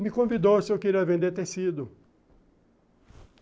Me convidou se eu queria vender tecido.